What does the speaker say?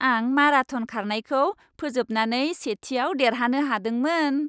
आं माराथन खारनायखौ फोजोबनानै सेथिआव देरहानो हादोंमोन।